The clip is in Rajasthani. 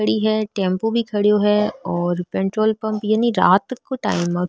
खड़ी है टेम्पो भी खड़ेयो है और पेट्रोल पम्प यानि रात को टाइम है।